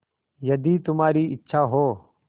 यदि तुम्हारी इच्छा हो